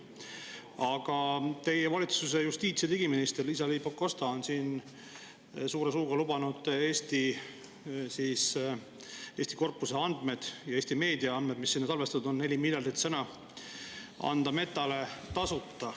Aga teie valitsuse justiits‑ ja digiminister Liisa-Ly Pakosta on suure suuga lubanud anda korpuse andmed ja Eesti meedia andmed, mis salvestatud on – 4 miljardit sõna –, Metale tasuta.